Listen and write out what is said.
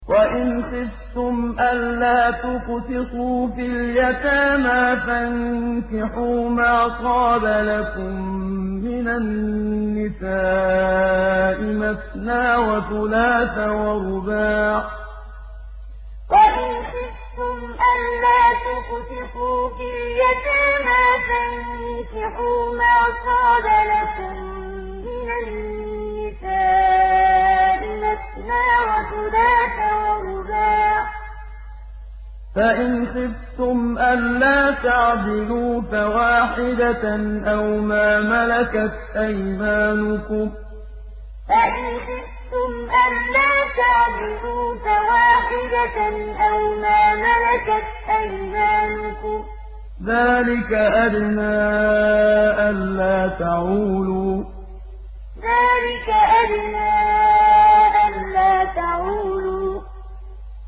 وَإِنْ خِفْتُمْ أَلَّا تُقْسِطُوا فِي الْيَتَامَىٰ فَانكِحُوا مَا طَابَ لَكُم مِّنَ النِّسَاءِ مَثْنَىٰ وَثُلَاثَ وَرُبَاعَ ۖ فَإِنْ خِفْتُمْ أَلَّا تَعْدِلُوا فَوَاحِدَةً أَوْ مَا مَلَكَتْ أَيْمَانُكُمْ ۚ ذَٰلِكَ أَدْنَىٰ أَلَّا تَعُولُوا وَإِنْ خِفْتُمْ أَلَّا تُقْسِطُوا فِي الْيَتَامَىٰ فَانكِحُوا مَا طَابَ لَكُم مِّنَ النِّسَاءِ مَثْنَىٰ وَثُلَاثَ وَرُبَاعَ ۖ فَإِنْ خِفْتُمْ أَلَّا تَعْدِلُوا فَوَاحِدَةً أَوْ مَا مَلَكَتْ أَيْمَانُكُمْ ۚ ذَٰلِكَ أَدْنَىٰ أَلَّا تَعُولُوا